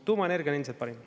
Tuumaenergia on ilmselt parim.